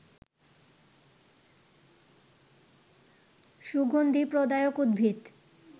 সুগন্ধি প্রদায়ক উদ্ভিদ